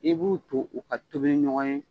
I b'u to u ka tobili ɲɔgɔn ye